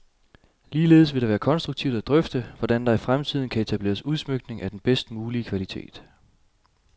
Ligeledes vil det være konstruktivt at drøfte, hvordan der i fremtiden kan etableres udsmykninger af den bedst mulige kvalitet.